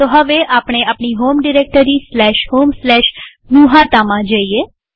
તો હવે આપણે આપણી હોમ ડિરેક્ટરી homegnuhataમાં છીએ